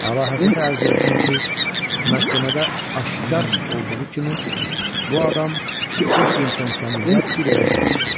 Əlahəzrətə ərz olsun ki, məhkəmədə aşkar olduğu kimi, bu adam İslington kəndində bir evə girmişdi.